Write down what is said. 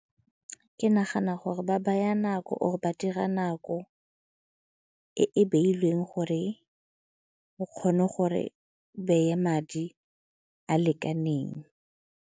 Ke nagana gore ba baya nako or ba dira nako e e beilweng gore o kgone gore beye madi a lekaneng.